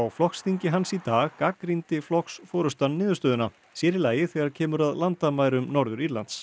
flokksþingi hans í dag gagnrýndi flokksforystan niðurstöðuna sér í lagi þegar kemur að landamærum Norður Írlands